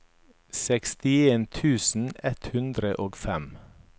sekstien tusen ett hundre og fem